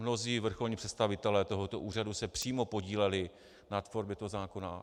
Mnozí vrcholní představitelé tohoto úřadu se přímo podíleli na tvorbě tohoto zákona.